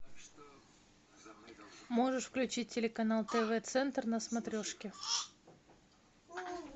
можешь включить телеканал тв центр на смотрешке